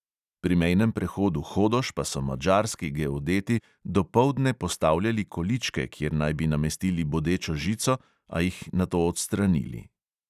Pri mejnem prehodu hodoš pa so madžarski geodeti dopoldne postavljali količke, kjer naj bi namestili bodečo žico, a jih nato odstranili.